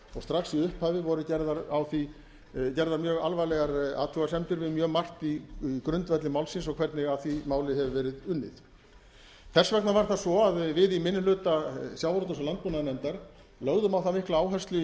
strax í upphafi voru gerðar mjög alvarlegar athugasemdir við mjög margt í grundvelli málsins og hvernig að því máli hefur verið unnið þess vegna var það svo að við í minni hluta sjávarútvegs og landbúnaðarnefndar lögðum á það mikla áherslu í